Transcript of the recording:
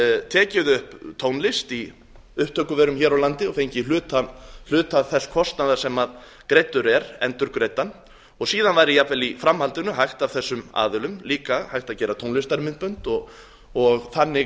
tekið upp tónlist í upptökuverum hér á landi og fengið hluta þess kostnaðar sem greiddur er endurgreiddan og síðan væri jafnvel í framhaldinu hægt af þessum aðilum líka hægt að gera tónlistarmyndbönd og þannig